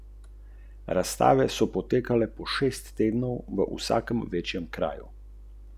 Ničesar ji ni očital in ni se mu gnusila.